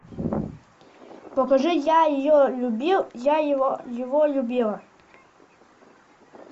покажи я ее любил я его любила